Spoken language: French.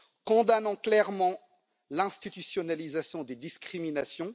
Condamnons clairement l'institutionnalisation des discriminations.